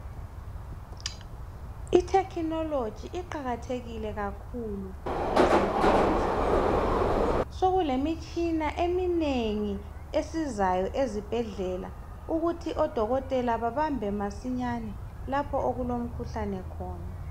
Itechnology iqakathekile kakhulu ezimpilweni zabantu, sokulemitshina eminengi esizayo ezibhedlela ukuthi odokotela babambe masinyane lapho okulomkhuhlane khona